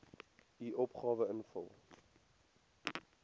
u opgawe invul